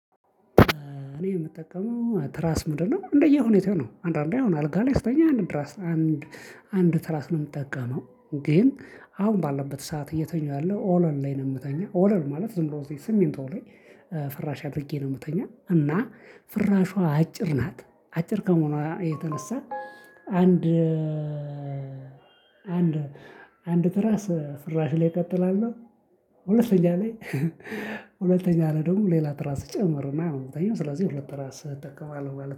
እኔ የምጠቀመው ትራስ ምንድነው እንደየሁኔታው ነው። አንዳንዴ አሁን አልጋ ላይ ስተኛ አንድ ትራስ አንድ አንድ ትራስ ነው የምጠቀመው ግን አሁን ባለበት ሰዓት እየተኛሁ ያለው ኦለል ላይ ነው የምተኛው ኦለል ማለት ዝም ብሎ ሲሚንቶ ላይ ፍራሽ አድርጌ ነው የምተኛ እና ፍራሿ አጭር ናት አጭር ከመሆኑ የተነሳ አንድ አንድ አንድ ትራስ ፍራሽ ላይ እቀጥላለሁ ሁለተኛ ላይ ሁለተኛ ላይ ደግሞ ሌላ ትራስ እጨምርና ሁለተኛው ስለዚህ ሁለት ትራስ እጠቀማለሁ ማለት ነው።